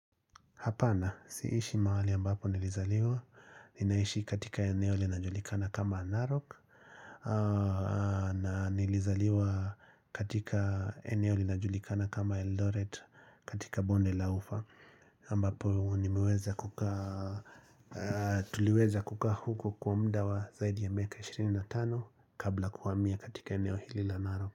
Hapana, siishi mawali ambapo nilizaliwa, ninaishi katika eneo linajulikana kama Naroc na nilizaliwa katika eneo linajulikana kama Eldoret katika Bonde la Ufa ambapo nimeweza kuka, tuliweza kuka huko kwa mda wa zaidi ya miaka 25 kabla kuwamia katika eneo hilila Naroc.